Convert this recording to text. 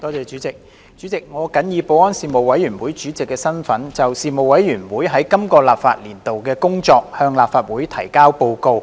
主席，我謹以保安事務委員會主席的身份，就事務委員會在今個立法年度的工作向立法會提交報告。